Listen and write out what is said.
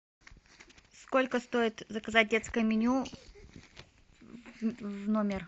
сколько стоит заказать детское меню в номер